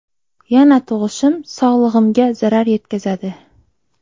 Yana tug‘ishim sog‘lig‘imga zarar yetkazadi.